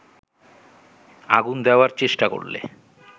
আগুন দেয়ার চেষ্টা করলে